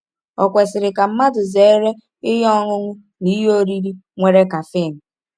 Ò kwesịrị ka mmadụ zere ihe ọṅụṅụ na ihe oriri nwere caffeine?